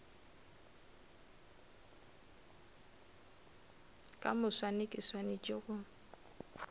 ka moswane ke swanetše go